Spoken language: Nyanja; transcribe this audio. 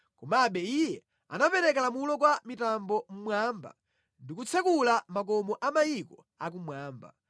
Komabe Iye anapereka lamulo kwa mitambo mmwamba ndi kutsekula makomo a mayiko akumwamba;